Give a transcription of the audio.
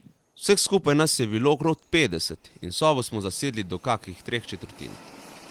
Vseh skupaj nas je bilo okrog petdeset in sobo smo zasedli do kakih treh četrtin.